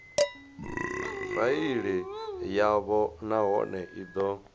faili yavho nahone i do